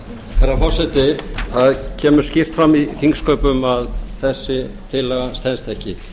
herra forseti það kemur skýrt fram í þingsköpum að þessi tillaga stenst ekki